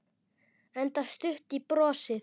Enda stutt í brosið.